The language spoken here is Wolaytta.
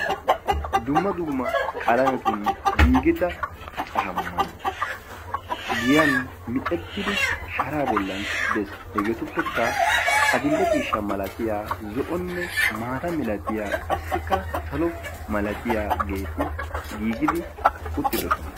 dumma dumma qalametun giigida caamay giyan miccettidi sharaa boli des. maata ma; lattiya qassikka salo malattiyageeti giigidi uttidosona.